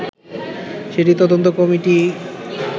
সেটি তদন্ত কমিটি